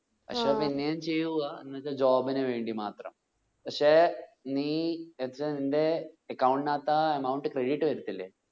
പക്ഷെ പിന്നേം ചെയ്യുവാ എന്ന് വെച്ച job ന് വേണ്ടി മാത്രം. പക്ഷെ നീ ഏർ നിന്റെ account നാത്തുആ amount credit വാരത്തില്ലേ